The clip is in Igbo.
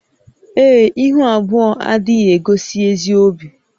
Ee e, ihu abụọ adịghị egosi ezi obi